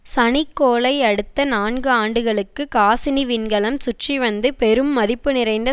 சனிக்கோளை அடுத்த நான்கு ஆண்டுகளுக்கு காசினி விண்கலம் சுற்றிவந்து பெரும் மதிப்பு நிறைந்த